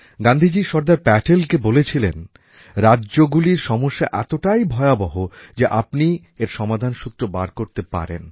গান্ধীজি সর্দার প্যাটেলকে বলেছিলেন রাজ্যগুলির সমস্যা এতটাই ভয়াবহ যে একমাত্র আপনি এর সমাধানসূত্র বার করতে পারেন